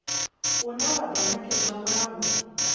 une wa do nekedzwa mulanguli